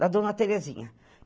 Da dona Terezinha.